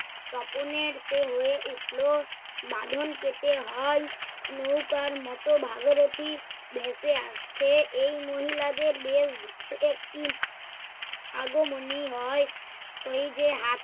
তপনের সে হয়ে উঠল। বাঁধন কেটে হন নৌকার মত ভাগরথী ভেসে আসছে । এই মহিলাদের বেশ একটি আগমনী হয়, ওই যে হাত